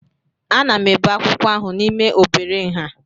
Ana m ebe akwụkwọ ahụ n'ime obere nha